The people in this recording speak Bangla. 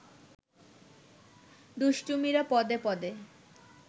দুষ্টুমিরা পদে-পদে